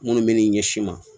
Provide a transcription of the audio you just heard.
Minnu bɛ n'i ɲɛsin ma